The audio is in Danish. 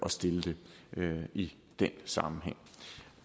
at stille dem i den sammenhæng